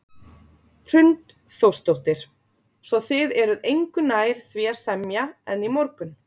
Hrund Þórsdóttir: Svo þið eruð engu nær því að semja en í morgun?